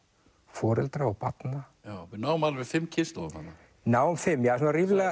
foreldra og barna við náum alveg fimm kynslóðum þarna náum fimm já svona ríflega